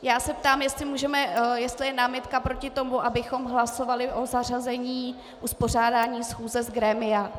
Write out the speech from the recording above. Já se ptám, jestli je námitka proti tomu, abychom hlasovali o zařazení uspořádání schůze z grémia.